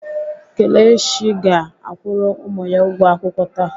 Kelechi ga-akwụrụ ụmụ ya ụgwọ akwụkwọ taa.